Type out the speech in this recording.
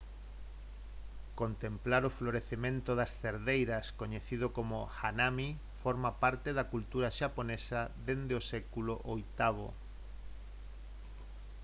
contemplar o florecemento das cerdeiras coñecido como «hanami» forma parte da cultura xaponesa desde o século viii